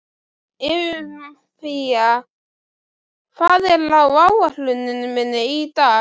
Eufemía, hvað er á áætluninni minni í dag?